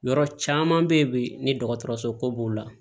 Yɔrɔ caman be ye bi ni dɔgɔtɔrɔso ko b'o la